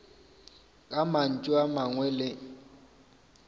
ka mantšu a mangwe le